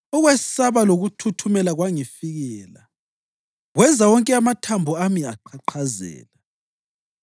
ukwesaba lokuthuthumela kwangifikela kwenza wonke amathambo ami aqhaqhazela.